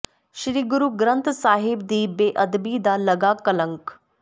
ਸ੍ਰੀ ਗੁਰੂ ਗ੍ਰੰਥ ਸਾਹਿਬ ਦੀ ਬੇਅਦਬੀ ਦਾ ਲੱਗਾ ਕਲੰਕ